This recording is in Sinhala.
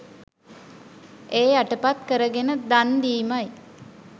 එය යටපත් කරගෙන දන් දීමයි.